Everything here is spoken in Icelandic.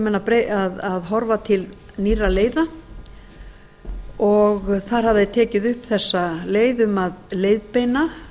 og þá þurfa menn að horfa til nýrra leiða og þar hafa þeir tekið upp þessa leið um að leiðbeina